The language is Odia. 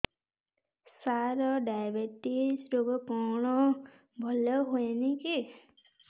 ସାର ଡାଏବେଟିସ ରୋଗ କଣ ଭଲ ହୁଏନି କି